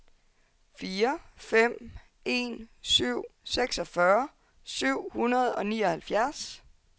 fire fem en syv seksogfyrre seks hundrede og nioghalvfjerds